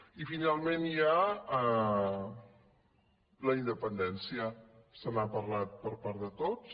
i finalment hi ha la independència se n’ha parlat per part de tots